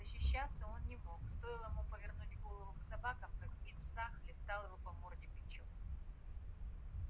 защищаться он не мог стоило ему повернуть голову к собакам как мит са хлестал его по морде бичом